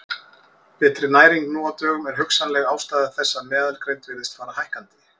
Betri næring nú á dögum er hugsanleg ástæða þess að meðalgreind virðist fara hækkandi.